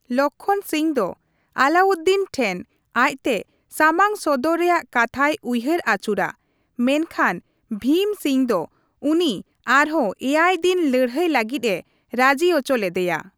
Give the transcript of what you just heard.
ᱞᱚᱠᱷᱚᱱ ᱥᱤᱝ ᱫᱚ ᱟᱞᱟᱣᱩᱫᱽᱫᱤᱱ ᱴᱷᱮᱱ ᱟᱡ ᱛᱮ ᱥᱟᱢᱟᱝ ᱥᱚᱫᱚᱨ ᱨᱮᱭᱟᱜ ᱠᱟᱛᱷᱟᱭ ᱩᱭᱦᱟᱹᱨ ᱟᱹᱪᱩᱨᱟ, ᱢᱮᱱ ᱠᱷᱟᱱ ᱵᱷᱤᱢ ᱥᱤᱝ ᱫᱚ ᱩᱱᱤ ᱟᱨᱦᱚᱸ ᱮᱭᱟᱭ ᱫᱤᱱ ᱞᱟᱹᱲᱦᱟᱹᱭ ᱞᱟᱹᱜᱤᱫᱼᱮ ᱨᱟᱹᱡᱤ ᱚᱪᱚ ᱞᱮᱫᱮᱭᱟ ᱾